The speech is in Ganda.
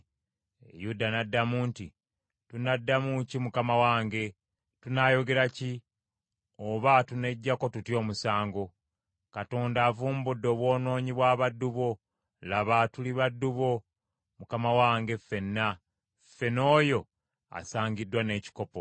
Yuda n’addamu nti, “Tunaddamu ki mukama wange? Tunaayogera ki? Oba tuneggyako tutya omusango? Katonda avumbudde obwonoonyi bw’abaddu bo, laba tuli baddu ba mukama wange, ffenna, ffe n’oyo asangiddwa n’ekikopo.”